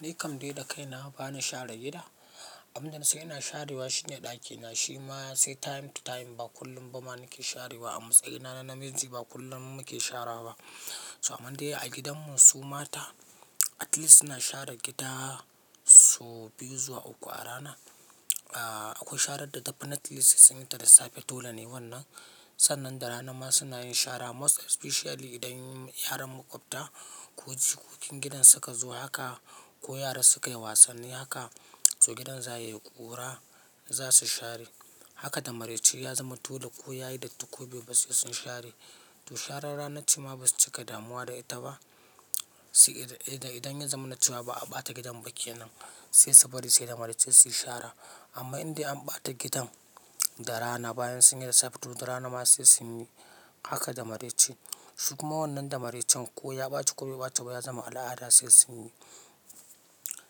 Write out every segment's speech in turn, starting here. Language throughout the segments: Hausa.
Ni kam dai da kaina bana share gida. Abin da na sai ina sharewa shine ɗakina, shi ma sai time to time ba kullum ba ma nake sharewa. A matsayina na namiji ba kullum muke shara ba. So amma dai a gidanmu su mata at least suna share gida so biyu zuwa uku a rana. Aaa, akwai sharan da tafi naturally suna yin ta da safe dole ne wannan. Sannan da rana ma suna yin shara most especially idan yaran makwabta ko cikokin gidan suka zo haka ko yaran suka yi wasanni haka, so gidan za ya yi ƙura za su share. Haka da maraice ya zama dole ko ya yi da tukwabe basu yi sun share. To sharan rana ce ma basu cika damuwa da ita ba. Sai idan, idan ya zama na cewa ba a ɓata gidan ba kenan, sai su bari sai da maraice su yi shara. Amma in dai an ɓata gidan, da rana bayan sun yi da safe, to da rana ma sai sun yi haka da maraice. Su kuma wannan da maraicen ko ya ɓaci ko bai ɓaci ba ya zama al'ada sai sun yi.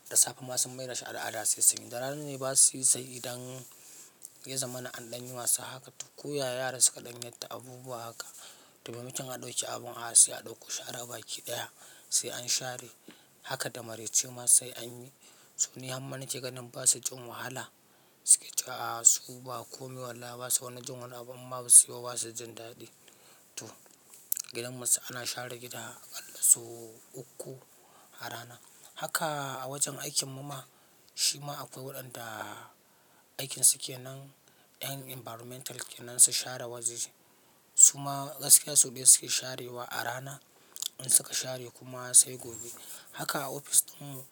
Da safe ma sun mai da shi al'ada sai sun yi. Da rana ne basu yi sai idan ya zama na an ɗanyi wasa haka. To ko yaya yara suka ɗan yarda abubuwa haka. To bamacin a ɗauki abin asali a ɗauko shara baki ɗaya sai an share haka da maraice ma sai an yi. So ni han ma nake ganin basa jin wahala. Suke cewa a su ba kome wallahi basa wani jin wani abu amma in ba su yi ba basa jin daɗi. To gidanmu sai ana share gida ƙalla so uku a rana. Haka a wajen aikin mu ma, shi ma akwai waɗanda aikin su ke nan, 'yan environmental kenan su share waje. Su ma gaskiya so biyu suke sharewa a rana. In suka share kuma sai gobe. Haka a ofis ɗin mu.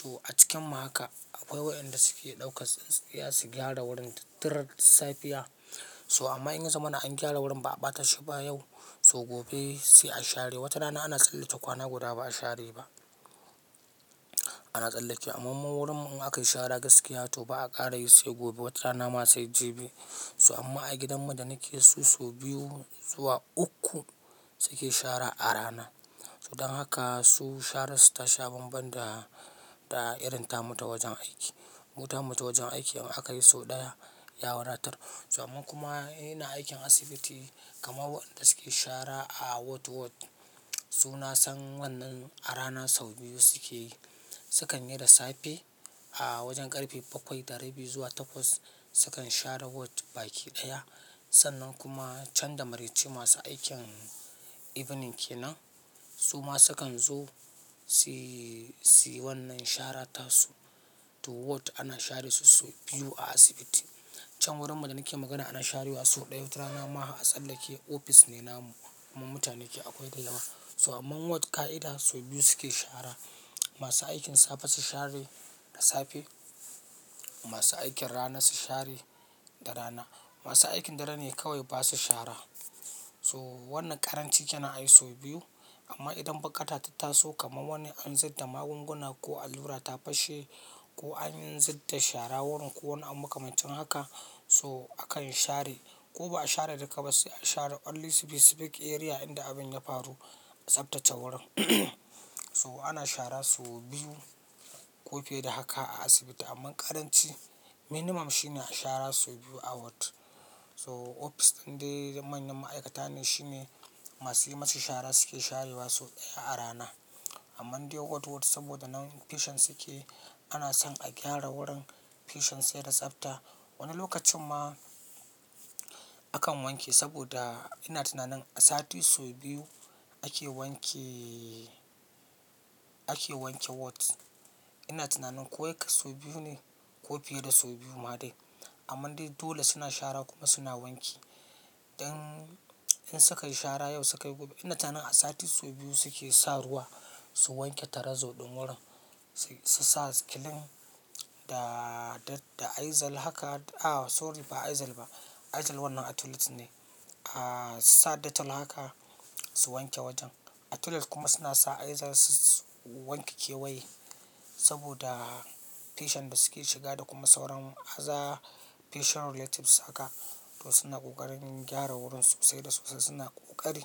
To a cikin mu haka akwai waɗanda suke ɗauka tsintsiya su gyara wurin tattaran safiya. So amma in ya zama na an gyara wurin ba a ɓata shi ba yau, so gobe sai a share. Wata rana ana tsallata kwana guda ba a share ba. Ana tsallake, amma ma wurin mu aka yi shara gaskiya to ba a ƙara yi sai gobe wata rana ma sai jibi. So amma a gidanmu da nake so, so biyu zuwa uku suke shara a rana. So dan haka su shararsu ta sha banban da, da irin ta mutu wajen aiki. Mutanin mu ta wajen aiki in aka yi so ɗaya, ya wuratar. So amma kuma ina aikin asibiti kamar waɗanda suke shara a ward ward. Su na san wannan a rana sau biyu suke yi. Sukan yi da safe a wajen ƙarfe bakwai da rabi zuwa takwas sukan share ward baki ɗaya. Sannan kuma can da maraice masu aikin evening kenan su ma sukan zo suyi, suyi wannan shara tasu. To ward ana share su so biyu a asibiti. Can wurin mu da nake magana ana sharewa so ɗaya wata rana ma a tsallake ofis ne namu amma mutane ke akwai ɗa yawa. So amma ward ƙa'ida so biyu suke shara. Masu aikin safe su share da safe. Masu aikin rana su share da rana. Masu aikin dare ne kawai basu shara. So wannan ƙaranci kenan ayi so biyu. Amma idan bukata ta taso kamar wani an zida magunguna ko allura ta pashe, ko an zida shara wurin ko wani an muka mutum haka, so akan share. Ko ba a share duka ba sai a share only specific area inda abin ya faru tsaftace wurin. So ana shara so biyu ko fiye da haka a asibiti amma ƙaranci minimum shine a shara so biyu a ward. So ofis tun dai manyan ma'aikata ne, shine masu yi masu shara suke sharewa so ɗaya a rana. Amma in dai ward ward saboda nan patient suke, ana son a gyara wurin patient sai da tsafta. Wani lokacin ma akan wanke saboda ina tunanin a sati so biyu ake wanke, ake wanke ward. Ina tunanin ko yake so biyu ne ko fiye da so biyu ma dai. Amma dai dole suna shara kuma suna wanki. Dan in suka yi shara yau suka yi gobe. Ina tunanin a sati so biyu suke sa ruwa su wanke tare zoɗon wurin. Sai su sa kilin da, da, da izal haka, a sorry ba izal ba. Izal wannan a toilet ne. A sa detol haka su wanke wajen. A toilet kuma suna sa izal su, su wanke kewaye saboda patient basu ke shiga da kuma sauran aza patient related suka. To suna ƙoƙarin gyara wurinsu sai da sosai suna ƙoƙari.